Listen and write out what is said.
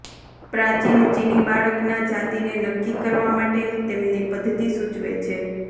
પ્રાચીન ચિની બાળકના જાતિને નક્કી કરવા માટેની તેમની પદ્ધતિ સૂચવે છે